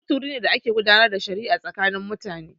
Kotu wuri ne da ake gudanar da shari'a tsakanin mutane.